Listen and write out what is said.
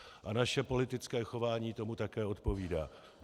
A naše politické chování tomu také odpovídá.